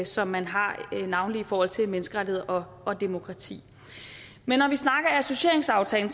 som man har navnlig i forhold til menneskerettigheder og demokrati men når vi snakker associeringsaftalen